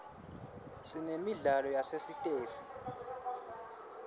sinemidlalo yasesitesi